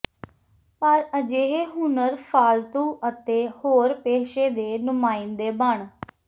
ਪਰ ਅਜਿਹੇ ਹੁਨਰ ਫ਼ਾਲਤੂ ਅਤੇ ਹੋਰ ਪੇਸ਼ੇ ਦੇ ਨੁਮਾਇੰਦੇ ਬਣ